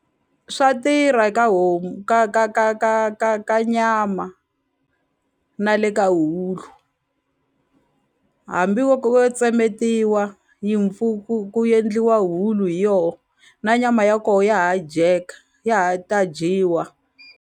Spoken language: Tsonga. Swa tirha ka homu ka ka ka ka ka ka nyama na le ka hambi wo wo tsemetiwa yi ku endliwa hulu hi yoho na nyama ya koho ya ha dyeka ya ha ta dyiwa.